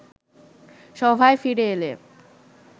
সভায় ফিরে এলে